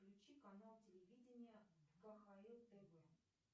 включи канал телевидения кхл тв